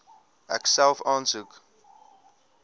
ek self aansoek